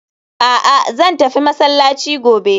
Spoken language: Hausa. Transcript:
A'a! Zan tafi masallaci gobe